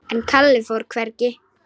En Kalli fór hvergi.